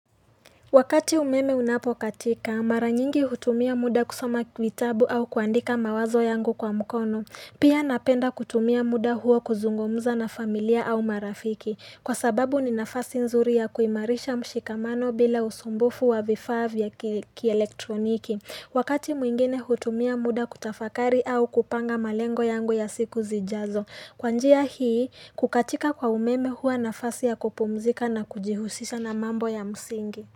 Wakati umeme unapokatika, mara nyingi hutumia muda kusoma vitabu au kuandika mawazo yangu kwa mkono. Pia napenda kutumia muda huo kuzungumza na familia au marafiki. Kwa sababu ni nafasi nzuri ya kuimarisha mshikamano bila usumbufu wa vifaa vya kielektroniki. Wakati mwingine hutumia muda kutafakari au kupanga malengo yangu ya siku zijazo. Kwa njia hii, kukatika kwa umeme huwa nafasi ya kupumzika na kujihusisha na mambo ya msingi.